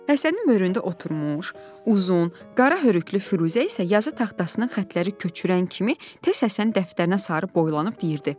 Həsənin mürüyündə oturmuş uzun, qara hörükülü Firuzə isə yazı taxtasının xətləri köçürən kimi tez Həsən dəftərinə sarı boylanıb deyirdi: